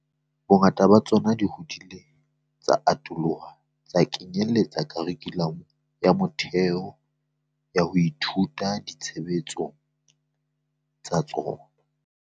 Bongata ba tsona di hodile tsa atoloha tsa kenyeletsa kharikhulamo ya motheo ya ho ithuta di tshebeletsong tsa tsona.